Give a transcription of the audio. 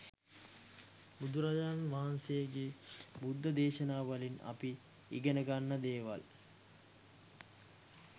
බුදුරජාණන් වහන්සේගේ බුද්ධ දේශනාවලින් අපි ඉගෙනගන්න දේවල්